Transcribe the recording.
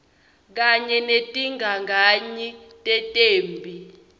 kanye netigagayi tetemphi